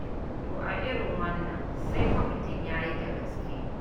To a irin wannan sai fa mutum ya yi da gaske.